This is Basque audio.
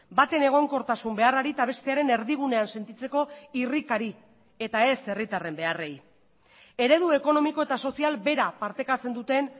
baten egonkortasun beharrari eta bestearen erdigunean sentitzeko irrikari eta ez herritarren beharrei eredu ekonomiko eta sozial bera partekatzen duten